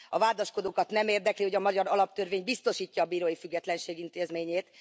A vádaskodókat nem érdekli, hogy a magyar alaptörvény biztosítja a bírói függetlenség intézményét.